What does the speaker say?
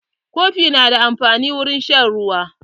Kofi na da amfani wurin shan ruwa.